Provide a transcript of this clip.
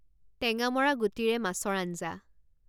টেঙামৰা গুটিৰে মাছৰ আঞ্জা